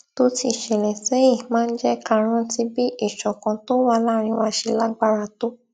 tó ti ṣẹlè séyìn máa ń jé ká rántí bí ìṣọkan tó wà láàárín wa ṣe lágbára tó